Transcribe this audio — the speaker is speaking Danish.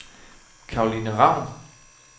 Caroline Ravn